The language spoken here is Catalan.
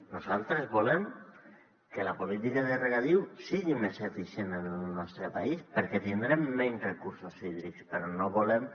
nosaltres volem que la política de regadiu sigui més eficient en el nostre país perquè tindrem menys recursos hídrics però no volem